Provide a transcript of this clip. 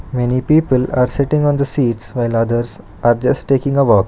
Many people are sitting on the seats while others are just taking a walk.